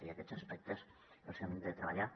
i aquests aspectes els hem de treballar